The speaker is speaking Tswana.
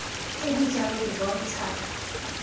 tse di jalo di bontsha